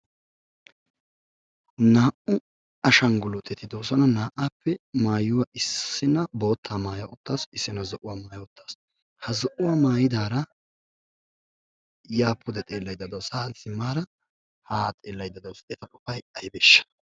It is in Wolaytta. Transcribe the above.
Naa'u ashanguluuttetti de'oososna. naa'aykka issinna zo'uwa issina boottaa . ha zo'uwa maayidaara yaa xeela utaasu. boottaa maayidaara haa xeella uttaassu.